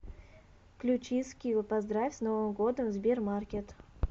включи скилл поздравь с новым годом в сбермаркет